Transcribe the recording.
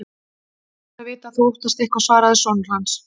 Gott er að vita að þú óttast eitthvað, svaraði sonur hans.